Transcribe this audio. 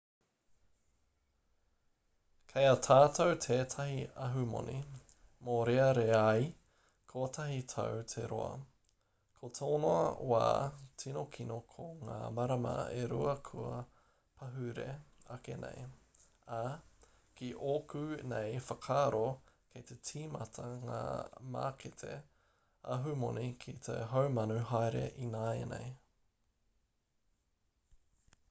kei a tātou tētahi ahumoni mōreareai kotahi tau te roa ko tōna wā tino kino ko ngā marama e rua kua pahure ake nei ā ki ōku nei whakaaro kei te tīmata ngā mākete ahumoni ki te haumanu haere ināianei